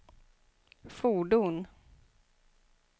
fordon